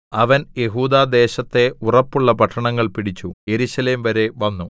അവൻ യെഹൂദാ ദേശത്തെ ഉറപ്പുള്ള പട്ടണങ്ങൾ പിടിച്ചു യെരൂശലേംവരെ വന്നു